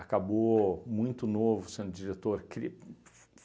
Acabou muito novo sendo diretor cri